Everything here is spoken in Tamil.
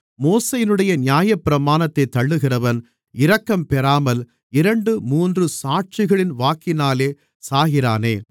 மோசேயினுடைய நியாயப்பிரமாணத்தைத் தள்ளுகிறவன் இரக்கம்பெறாமல் இரண்டு மூன்று சாட்சிகளின் வாக்கினாலே சாகிறானே